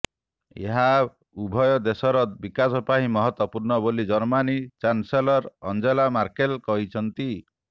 ଏହା ଉଭୟ ଦେଶର ବିକାଶ ପାଇଁ ମହତ୍ୱପୂର୍ଣ୍ଣ ବୋଲି ଜର୍ମାନୀ ଚାନସେଲର ଆଞ୍ଜେଲା ମାର୍କେଲ କହିଛନ୍ତି